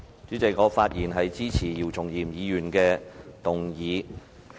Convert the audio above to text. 主席，我發言支持姚松炎議員提出的議案。